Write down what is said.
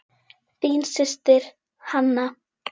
Þín systir, Hanna.